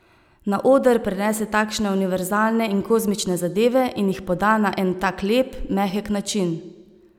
Na oder prenese takšne univerzalne in kozmične zadeve in jih poda na en tak lep, mehek način.